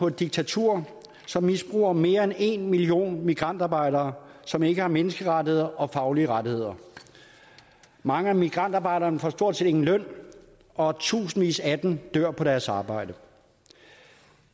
et diktatur som misbruger mere end en million migrantarbejdere som ikke har menneskerettigheder og faglige rettigheder mange af migrantarbejderne får stort set ingen løn og tusindvis af dem dør på deres arbejde